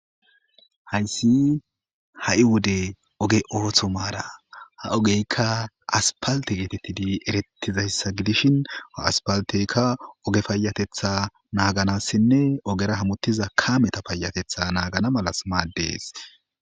Hayssi ha'i wode oge ootho maara ha ogeykka aspalte geetettidi erettizayssa gidishin aaspalteykka oge payatetha naaganassinne ogera hamuttiza kaameta payatetha naagana malas maaddees.